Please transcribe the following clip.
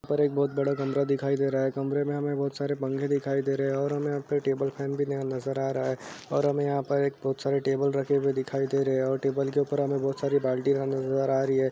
उपर एक बहोत बड़ा कमरा दिखाई दे रहा है। कमरे में हमें बहोत सारे पंखे दिखाई दे रहे हैं और हमें अपना टेबल फैन भी नया नज़र आ रहा है और हमें यहाँ पर एक बहोत सारे टेबल रखे हुए दिखाई दे रहे हैं और टेबल के ऊपर हमें बहोत सारी बाल्टी नज़र आ रही है।